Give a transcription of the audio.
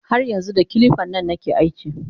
Har yanxu da kilipan nan kake aski?